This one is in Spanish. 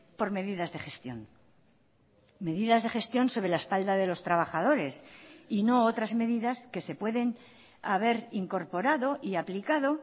por medidas de gestión medidas de gestión sobre la espalda de los trabajadores y no otras medidas que se pueden haber incorporado y aplicado